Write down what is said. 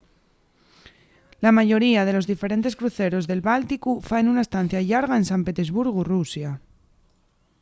la mayoría de los diferentes cruceros del bálticu faen una estacia llarga en san petersburgu rusia